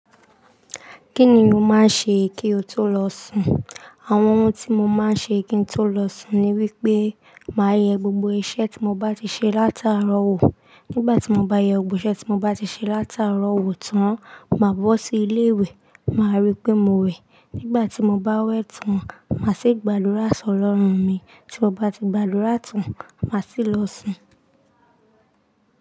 Kí ni o máa ń ṣe kí o tó lọ sùn? Àwọn ohun tí mo máa ń ṣe kí n tó lọ sùn ni wí pé, màá yẹ gbogbo iṣẹ́ tí mo bá ti ṣe látàárọ̀ wò. Nígbà tí mo bá yẹ gbogbo iṣẹ́ tí mo bá ti ṣe látàárọ̀ wò tán, màá bọ́ sí ilé ìwẹ̀, màá rí pé mo wẹ̀. Nígbà tí mo bá wẹ̀ tán, mà á sì gbàdúrà sí Ọlọ́run mi. Tí mo bá ti gbàdúrà tán, mà á sì lọ sùn.